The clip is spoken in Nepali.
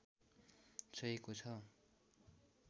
छोएको छ